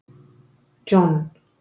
John